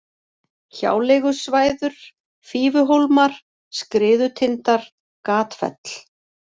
Hjáleigusvæður, Fífuhólmar, Skriðutindar, Gatfell